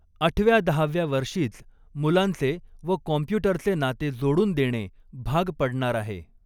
आठव्यादहाव्या वर्षीच मुलांचे व कॉम्प्युटरचे नाते जोडूनदेणे भाग पडणार आहे.